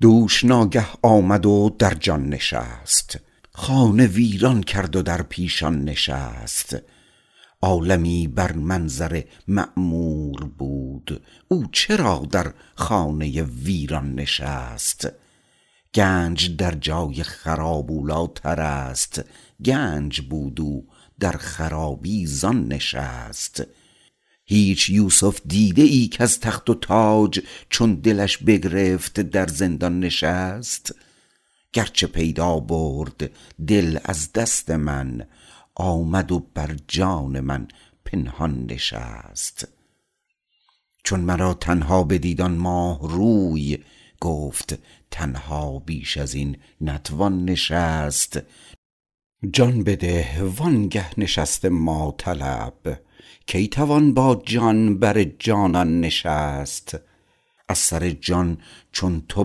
دوش ناگه آمد و در جان نشست خانه ویران کرد و در پیشان نشست عالمی بر منظر معمور بود او چرا در خانه ویران نشست گنج در جای خراب اولی تر است گنج بود او در خرابی زان نشست هیچ یوسف دیده ای کز تخت و تاج چون دلش بگرفت در زندان نشست گرچه پیدا برد دل از دست من آمد و بر جان من پنهان نشست چون مرا تنها بدید آن ماه روی گفت تنها بیش ازین نتوان نشست جان بده وانگه نشست ما طلب کی توان با جان بر جانان نشست از سر جان چون تو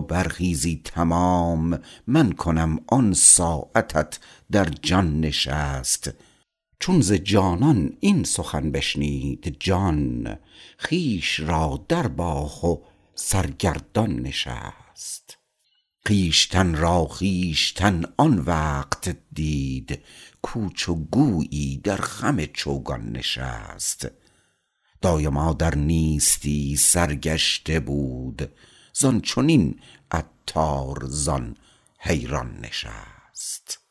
برخیزی تمام من کنم آن ساعتت در جان نشست چون ز جانان این سخن بشنید جان خویش را درباخت و سرگردان نشست خویشتن را خویشتن آن وقت دید کاو چو گویی در خم چوگان نشست دایما در نیستی سرگشته بود زان چنین عطار زان حیران نشست